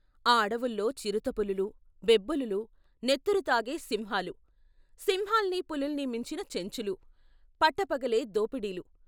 ఆ అడవుల్లో చిరుత పులులు, బెబ్బులులు, నెత్తురు తాగే సింహాలు, సింహాల్ని పులుల్ని మించిన చెంచులు పట్టపగలే దోపిడీలు.